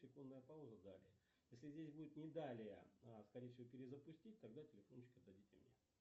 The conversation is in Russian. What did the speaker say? секундная пауза далее если здесь будет не далее а скорее всего перезапустить тогда телефончик отдадите мне